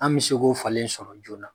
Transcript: An bɛ se k'o falen sɔrɔ joona